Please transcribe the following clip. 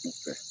U fɛ